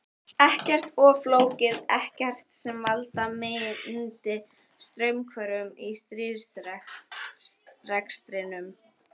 Ekkert of flókið, ekkert sem valda myndi straumhvörfum í stríðsrekstrinum.